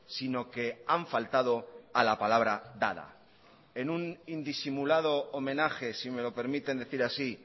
sino que han faltado a la palabra dada en un indisimulado homenaje si me lo permiten decir así